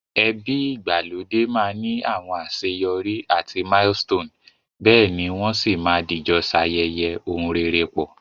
Ebi ìgbàlódé ma ni àwon àseyorí àti milestone, béèni won si ma dìjo sayẹyẹ oun rere pọ̀